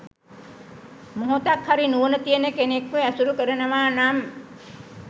මොහොතක්හරි නුවණ තියෙන කෙනෙක්ව ඇසුරු කරනවා නම්